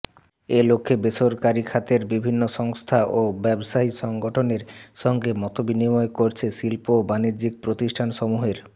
এ লক্ষ্যে বেসরকারিখাতের বিভিন্ন সংস্থা ও ব্যবসায়ী সংগঠনের সঙ্গে মতবিনিময় করছে শিল্প ও বাণিজ্যিক প্রতিষ্ঠানসমূহের